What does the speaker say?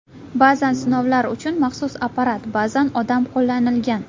Ba’zan sinovlar uchun maxsus apparat, ba’zan odam qo‘llanilgan.